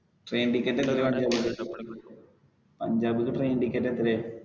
train ticket ഒക്കെ പഞ്ചാബ്ക്ക് train ticket എത്രയാ?